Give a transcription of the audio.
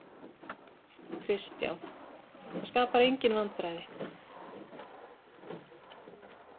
Kristján: Það skapar engin vandræði?